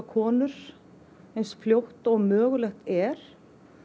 konur eins fljótt og mögulegt er